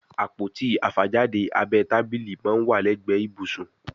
Àpótí àfàjáde abẹ́ tábílì món wá legbe ibusun